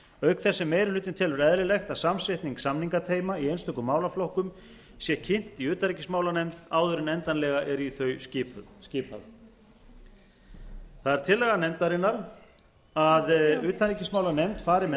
auk þess sem meiri hlutinn telur eðlilegt að samsetning samningateyma í einstökum málaflokkum sé kynnt í utanríkismálanefnd áður en endanlega er í þau skipað það er tillaga nefndarinnar að utanríkismálanefnd fari með